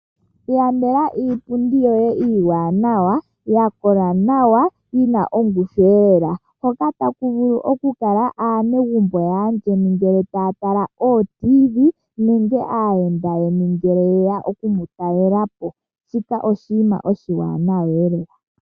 Ilandela iipundi yoye iiwanawa, ya kola nawa, yina ongushu lela, hoka taku vulu okukala aanegumbo yaayeni ngele taya tala oTv nenge aayenda yeni ngele ye ya okumu talelapo, shika oshinima oshiwanawa lela.